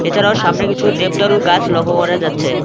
এছাড়াও সামনে কিছু দেবদারুর গাছ লক্ষ করা যাচ্ছে।